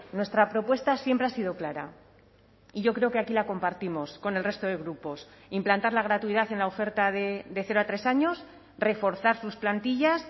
nuestra propuesta siempre ha sido clara y yo creo que aquí la compartimos con el resto de grupos implantar la gratuidad en la oferta de cero a tres años reforzar sus plantillas